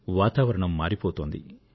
వాతావరణం మారిపోతోంది